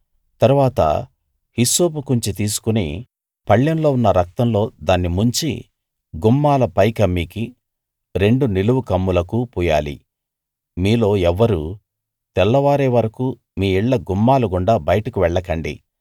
తరువాత హిస్సోపు కుంచె తీసుకుని పళ్ళెంలో ఉన్న రక్తంలో దాన్ని ముంచి గుమ్మాల పైకమ్మికీ రెండు నిలువు కమ్ములకూ పూయాలి మీలో ఎవ్వరూ తెల్లవారే వరకూ మీ ఇళ్ళ గుమ్మాల గుండా బయటకు వెళ్ళకండి